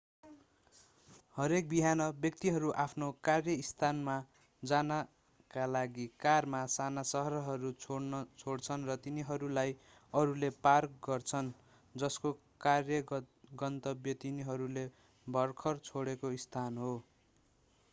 हरेक बिहान व्यक्तिहरू आफ्नो कार्यस्थानमा जानका लागि कारमा साना सहरहरू छोड्छन् र तिनीहरूलाई अरूले पार गर्छन् जसको कार्य गन्तव्य तिनीहरूले भर्खर छोडेको स्थान हो